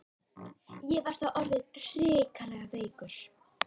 Ég var þá orðinn hrikalega veikur.